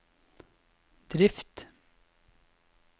drift